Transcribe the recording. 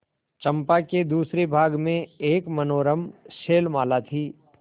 चंपा के दूसरे भाग में एक मनोरम शैलमाला थी